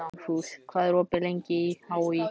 Dugfús, hvað er opið lengi í HÍ?